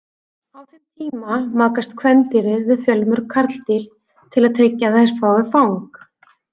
Á þeim tíma makast kvendýrin við fjölmörg karldýr til að tryggja að þær fái fang.